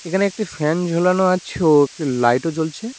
এখানে একটি ফ্যান ঝোলানো আছে ও একটি লাইট -ও জ্বলছে।